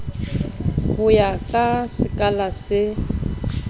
ho ya ka sekala se